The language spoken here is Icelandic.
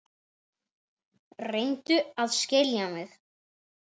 Reyndu að skilja mig.